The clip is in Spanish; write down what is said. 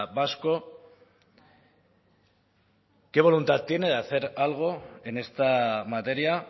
vasco qué voluntad tiene de hacer algo en esta materia